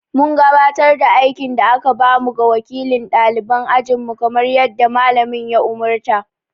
Mun gabatar da aikin da aka ba mu ga wakilin ɗaliban ajinmu kamar yadda Mallamin ya umurta.